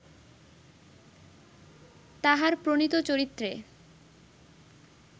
তাঁহার প্রণীত চরিত্রে